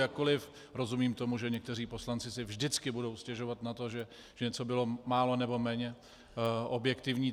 Jakkoliv rozumím tomu, že někteří poslanci si vždycky budou stěžovat na to, že něco bylo málo nebo méně objektivní.